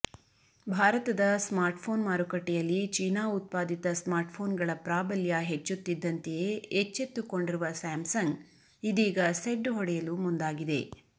ಭಾರತದ ಸ್ಮಾರ್ಟ್ಫೋನ್ ಮಾರುಕಟ್ಟೆಯಲ್ಲಿ ಚೀನಾ ಉತ್ಪಾದಿತ ಸ್ಮಾರ್ಟ್ಫೋನ್ಗಳ ಪ್ರಾಬಲ್ಯ ಹೆಚ್ಚುತ್ತಿದ್ದಂತೆಯೇ ಎಚ್ಚೆತ್ತುಕೊಂಡಿರುವ ಸ್ಯಾಮ್ಸಂಗ್ ಇದೀಗ ಸೆಡ್ಡು ಹೊಡೆಯಲು ಮುಂದಾಗಿದೆ